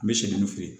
N bɛ sɛgɛn nin feere